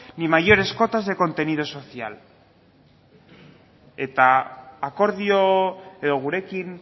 ni mayores cuotas de contenido social eta akordio edo gurekin